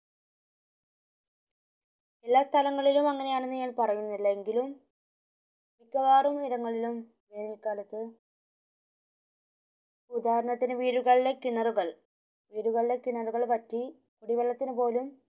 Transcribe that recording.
എല്ലാ സ്ഥലങ്ങളിലും അങ്ങനെയാണെന്ന് ഞാൻ പറഞ്ഞില്ല എങ്കിലും മിക്കവറിടങ്ങളിലും വേനൽ കാലത ഉദ്ധാരണത്തിന് വീടുകളിലെ കിണറുകൾ വീടുകളിലെ കിണറുകൾ വറ്റി കുടിവെള്ളത്തിമു പോലും